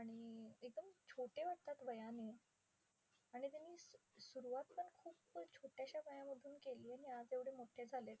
आणि छोटे वाटतात वयाने. आणि त्यांनी स सुरुवात पण खूपच छोट्याशा वयामधून केली आणि आज एवढे मोठे झालेत.